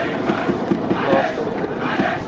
plaaslike